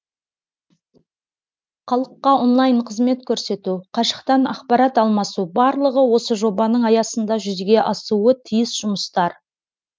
халыққа онлайн қызмет көрсету қашықтан ақпарат алмасу барлығы осы жобаның аясында жүзеге асуы тиіс жұмыстар